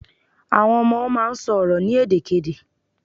Àwọn ọmọ máà ń sọ̀rọ̀ ní èdè kedè